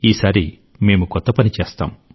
ఈసారి మేము కొత్త పని చేస్తాం